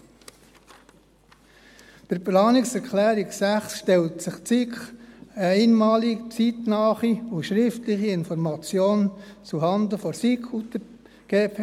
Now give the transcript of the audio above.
Bei der Planungserklärung 6 stellt sich die SiK eine einmalige, zeitnahe und schriftliche Information zuhanden der SiK und der GPK vor.